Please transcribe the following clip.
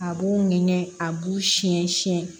A b'u minɛ a b'u siɲɛ siɲɛ